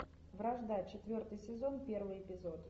вражда четвертый сезон первый эпизод